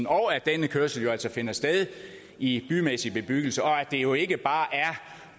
og at denne kørsel jo altså finder sted i bymæssig bebyggelse og at det jo ikke bare er